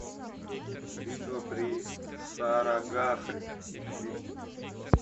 битва при сарагахри ищи